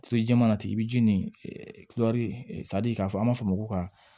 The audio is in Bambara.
jɛman na ten i bɛ ji nin kulɛri sadi k'a fɔ an b'a fɔ ma ko ka